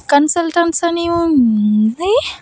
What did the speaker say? కన్సల్టైల్స్ అని ఉంది.